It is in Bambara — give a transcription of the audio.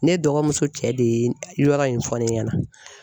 Ne dɔgɔmuso cɛ de ye yɔrɔ in fɔ ne ɲɛna.